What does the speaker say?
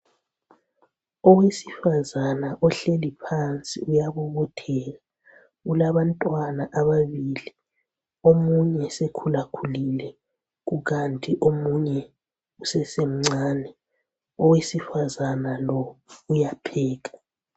Owesifazana ohleli phansi uyabobotheka. Ulabantwana ababili. Omunye sekhulakhulile kukanti omunye usesemncane. Owesifazana lo uyapheka.